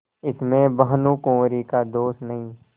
इसमें भानुकुँवरि का दोष नहीं